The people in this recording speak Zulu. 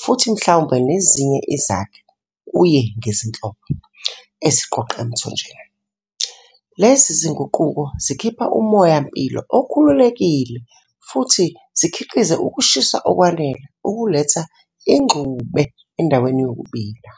futhi mhlawumbe nezinye izakhi, kuye ngezinhlobo, eziqoqa emthonjeni. Lezi zinguquko zikhipha umoya-mpilo okhululekile futhi zikhiqize ukushisa okwanele ukuletha ingxube endaweni yokubila.